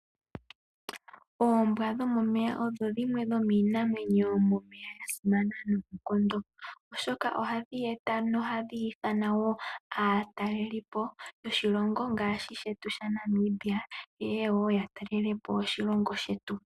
Oombwa dhomomeya odho dhimwe yomiinamwenyo yo momeya yasimana noonkondo oshoka ohadhi eta nohadhi ithana aatalelipo yoshilongo ngaashi shetu shaNamibia yeye woo yatalelepo oshilongo shetu.